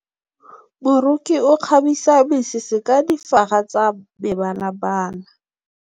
Moroki o kgabisa mesese ka difaga tsa mebalabala.